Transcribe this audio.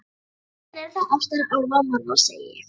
Síðan eru það ástir álfa og manna, segi ég.